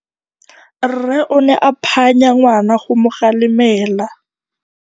Rre o ne a phanya ngwana go mo galemela.